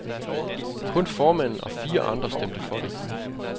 Kun formanden og fire andre stemte for det.